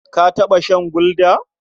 Ka taɓa shan Gulda?